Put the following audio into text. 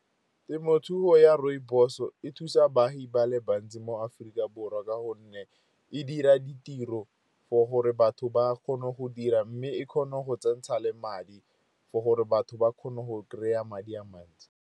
Temothuo ya rooibos e thusa baagi ba le bantsi mo Aforika Borwa, ka gonne e dira ditiro for gore batho ba kgone go dira. Mme e kgone go tsentsha le madi for gore batho ba kgone go kry-a madi a mantsi.